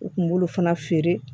U kun b'olu fana feere